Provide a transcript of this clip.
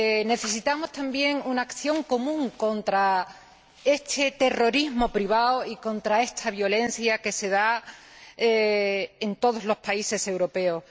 necesitamos también una acción común contra este terrorismo privado y contra esta violencia que se da en todos los países europeos.